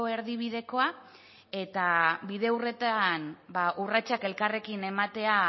erdibidekoa eta bide horretan urratsak elkarrekin ematea